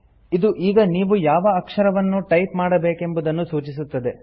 ಇದು ಈಗ ನೀವು ಯಾವ ಅಕ್ಷರವನ್ನು ಟೈಪ್ ಮಾಡಬೇಕೆಂಬುದನ್ನು ಸೂಚಿಸುತ್ತದೆ